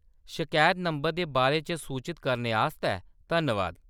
शकैत नंबर दे बारे च सूचत करने आस्तै धन्नवाद।